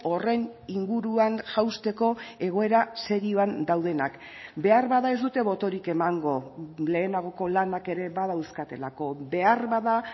horren inguruan jausteko egoera serioan daudenak beharbada ez dute botorik emango lehenagoko lanak ere badauzkatelako beharbada